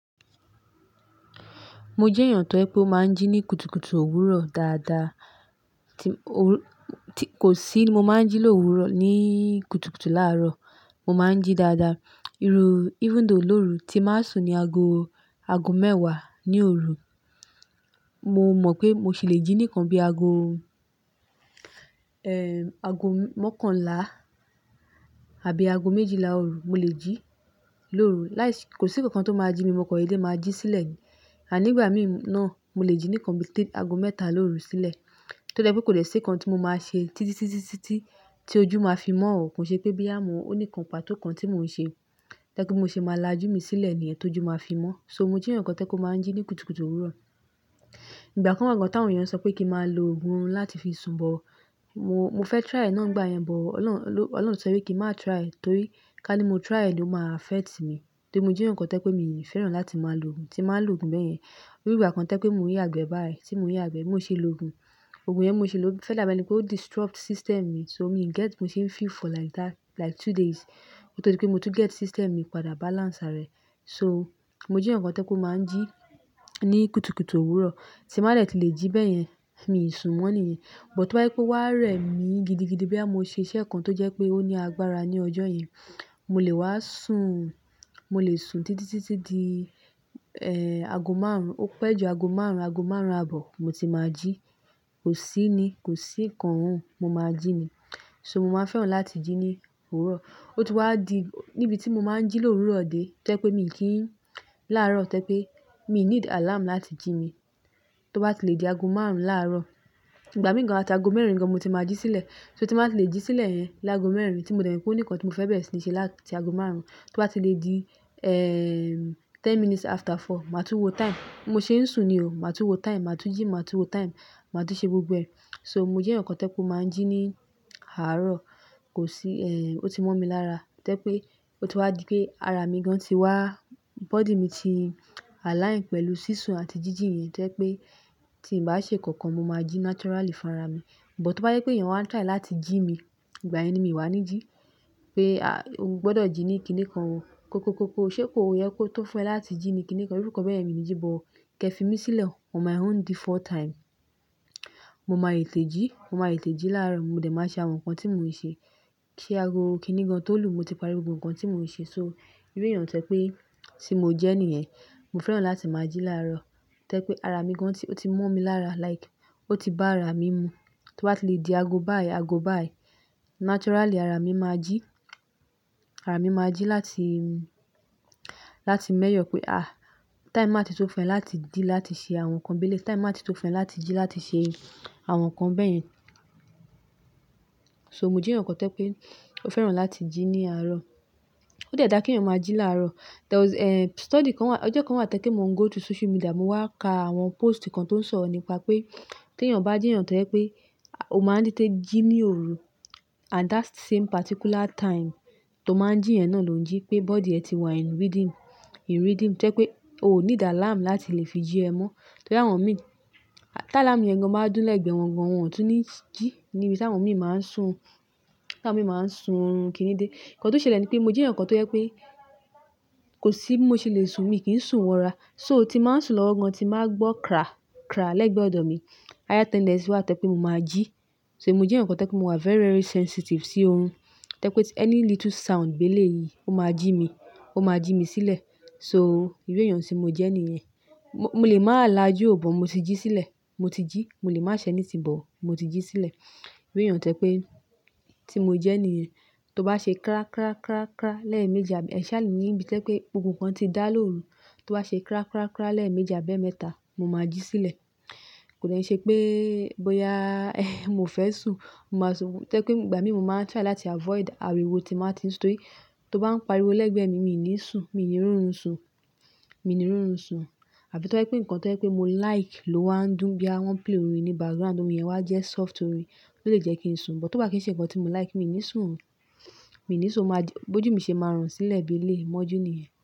Mo jẹ́ èèyàn tó jẹ pé ó máa ń jí ní kùtùkùtù òwúrọ̀ dáadáa. Kò sí mo máa ń jí lóru ní kùtùkùtù láàrọ̀, mo máa ń jí dáadáa. Even though lóru tí máa sùn ni ago mẹ́wàá ní òru, mo mọ̀ pé mo sì le jí nìkan bí ago mọ́kànlá àbí ago méjìlá òru. Mo lè jí lóru. Kò sí nǹkan tó máa jí mi, mo kọ dédé máa jí sílẹ̀ yẹn. Ànígbà mí náà mo lè jí nìkan bí ago mẹ́ta lóru sílẹ̀. Tó jẹ́ pé kò lè ṣe nǹkan tí mo máa ṣe títí tí ojú máa fi mọ́ ọ̀, kò ṣe pé bí àmọ́ ó ní nǹkan pàtó kan tí mò ń ṣe, tójẹ́pé mo ṣe máa lajú mi sílẹ̀ ní ẹ̀ tó ju máa fi mọ́. So mo jẹ́ èyàn kan tó jẹ́pé ó máa ń jí ní kùtùkùtù òwúrọ̀. Ìgbà kan wà gan-an tí àwọn èèyàn sọ pé kí máa lo ògùn orun láti fi sun bọ. Mo fẹ́ try náà nígbà yẹn, Ọlọ́run sọ wí pé kí má try è, torí ká ní mo try è ló máa affect mi. Tí mo jẹ́ èyàn kan tó jẹ́pé mi fẹ́ràn láti máa lo ògùn, tí máa ń lo ògùn bẹ́yẹn. Ní ìgbà kan tó jẹ́pé mò ń yàgbẹ́ báyìí, tí mò ń yàgbẹ̀ bí mo sì lo ògùn. Ògùn yẹn mo sì lo fẹ́ dà bá ẹni pé ó disrupt system mi. So mo sì feel for like two days, ó tó ti pé mo tún get system mi padà balance àrẹ̀. So mo jẹ́ èyàn kan tó jẹ́pé mo máa ń jí ní kùtùkùtù òwúrọ̀, tí máa lè tí lè jí bẹ́yẹn, mi ò sun mọ́ níyẹn. Bọ̀ tó bá yé pé ó wà rẹ̀ mi gidigidi bí a mo ṣe iṣẹ́ kan tó jẹ́ pé ó ní agbára ní ọjọ́ yẹn, mo lè wá sùn títí di ago márùn-ún. Ó pẹ́ ju ago márùn-ún, ago márùn-ún àbọ̀ mo ti máa jí. Kò sí nǹkan mo máa jí mi. So mo máa fẹ́ràn láti jí ní òwúrọ̀. Ó ti wá di níbi tí mo máa ń jí lówù rọ́ dé, tó jẹ́pé mi kì í láàrọ̀ tẹ́ pé mi need alarm láti jí mi. Tó bá ti le di ago márùn-ún láàrọ̀. Ìgbà mìíràn tàbí ago mẹ́rin gan mo ti máa jí sílẹ̀. So tí máa ti le jí sílẹ̀ yẹn lágo mẹ́rin tí mo dẹ̀ rí pé ó ní nǹkan tí mo fẹ́ bẹ̀rẹ̀ sí ní ṣe láti ago márùn-ún, tó bá ti le di ten minutes after four, màá tún wo time. Mo ṣe ń sùn ni o, màá tún wo time, màá tún jí, màá tún wo time, màá tún ṣe gbogbo ẹ. So mo jẹ́ èyàn kan tó jẹ́pé ó máa ń jí ní àárọ̀, kò sí, o ti mú ọ mi lára. Tẹ́ pé ó ti wá di pé ara mi gan ti wá-- body mi ti align pẹ̀lú sísun àti jíjìn yẹn tẹ́ pé tí n bá ṣe nǹkan mo máa jí naturally fún ara mi. Bọ̀ tó bá yé pé èèyàn wá try láti jí mi, ìgbà ẹni mi wà ní jí pé o gbọdọ̀ jí ní kiní kan, ko ṣe kó yẹ kó tó fẹ́ láti jí mi kiní kan, irú ǹkan bẹ́yẹn mi ní jí bọ̀. Kẹ fi mí sílẹ̀ on my own default time. Mo máa yè té jí, mo máa yè té jí láàrọ̀, mo dẹ̀ máa ṣe àwọn nǹkan tí mò ń ṣe. Kí ago kiní gan tó lù mo ti parí gbogbo ǹkan tí mò ń ṣe. So irú èèyàn tẹ́ pé tí mo jẹ́ níyẹn, mo fẹ́ràn láti máa jí láàrọ̀. Tẹ́ pé ara mi gan ti, ó ti mú ọ mi lára like ó ti bá ara mi mu. Tó bá ti le di ago báyìí, ago báyìí, naturally ara mi máa jí láti mẹ́yọ̀ pé àì, time máa ti tó fẹ́ láti dí láti ṣe àwọn nǹkan béle, time máa ti tó fẹ́ láti jí láti ṣe àwọn nǹkan bẹ́yẹn. So mo jẹ́ nǹkan tẹ́ pé ó fẹ́ràn láti jí ní àárọ̀. Ó dẹ̀ dára kí èèyàn máa jí láàrọ̀. There was study kan wà, ọjọ́ kan wà tó jẹ́pé mo ń go to social media, mo wá ka àwọn post kan tó ń sọ̀rọ̀ nípa pé tí èèyàn bá jẹ́ nǹkan tẹ́ pé o máa ń títẹ́ jí ní òru at that same particular time tó máa ń jí yẹn náà ló ń jí pé body ẹ ti wà in rhythm. In rhythm tẹ́ pé o ò ní dà alarm láti le fi jí ẹ mọ́. Torí àwọn mi, tá alarm yẹn gan máa ń dún lẹ́gbẹ̀ẹ́ wọn gan, wọn ò tún ní jí níbi tí àwọn mi máa ń sùn orun kiní dé. Nǹkan tó ṣẹlẹ̀ ni pé mo jẹ́ èyàn kan tó yẹ pé kò sí bí mo ṣe le sùn, mi kì í sùn wọ́ra. So tí màá ń sùn lọ́wọ́ gan tí màá gbọ́ kra lẹ́gbẹ̀ẹ́ ọ̀dọ̀ mi, ẹ̀yà timeless wá tẹ́ pé mo máa jí. So mo jẹ́ èyàn kan tẹ́ pé mo wà very sensitive sí orun. Tẹ́ pé ẹni little sound béle yìí ó máa jí mi sílẹ̀. So ìwé èèyàn tí mo jẹ́ níyẹn. Mo lè máa lajú ò bọ̀ mo ti jí sílẹ̀, mo ti jí. Mo lè má ṣe ní tì bọ̀ mo ti jí sílẹ̀. Ìwé èèyàn tẹ́ pé tí mo jẹ́ níyẹn, tó bá ṣe kra lẹ́ẹ̀ mẹ́jà, ẹ̀ṣà ni níbi tẹ́ pé ohun kan ti dá lóru, tó bá ṣe kra lẹ́ẹ̀ mẹ́jà bẹ́ẹ̀ mẹ́ta, mo máa jí sílẹ̀. Kò dẹ̀ ṣe pé bóyá mo fẹ́ sùn, tẹ́ pé ìgbà mí mo máa ń try láti avoid àríwó tí màá ti ń sùn torí tó bá ń pariwo lẹ́gbẹ̀ẹ́ mi, mi ò ní sùn, mi ò ní rírun sùn. Àbí tó bá pé nǹkan tẹ́ pé mo like ló wá ń dùn bí àwọn pill rìn ní background, ohun ìyẹn wà jẹ́ soft rìn tó lè jẹ́ kí n sùn. Bọ̀ tó bá kì í ṣe nǹkan tí mo like mi ò ní sùn, mi ò ní sùn. Bo ju mí ṣe máa rùn sílẹ̀ bí ilé mọ́ jú níyẹn.